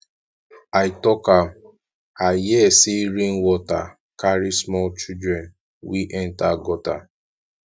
i talk am i hear say rain water carry small children wey enter gutter